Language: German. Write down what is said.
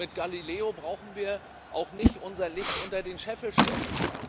Mit Galileo brauchen wir auch nicht unser Licht unter den Scheffel zu stellen.